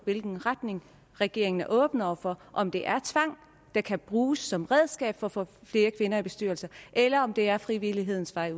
hvilken retning regeringen er åben over for om det er tvang der kan bruges som redskab for at få flere kvinder i bestyrelser eller om det udelukkende er frivillighedens vej